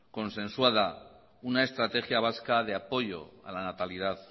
consensuada una estrategia vasca de apoyo a la natalidad